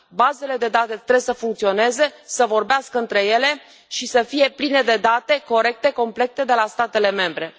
Bazele de date trebuie să funcționeze, să vorbească între ele și să fie pline de date corecte, complete de la statele membre.